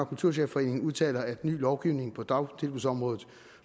kulturchefforeningen udtaler at ny lovgivning på dagtilbudsområdet